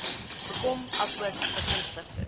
bekom asook begunstigdes